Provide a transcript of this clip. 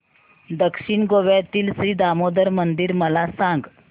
दक्षिण गोव्यातील श्री दामोदर मंदिर मला सांग